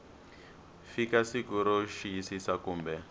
fika siku ro xiyisisa kumbe